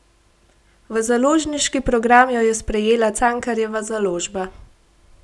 V založniški program jo je sprejela Cankarjeva založba.